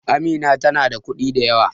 Amina tana da kuɗi da yawa